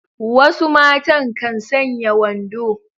Wasu matan kan sanya wando.